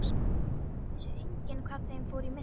Vissi enginn hvað þeim fór í milli.